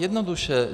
Jednoduše.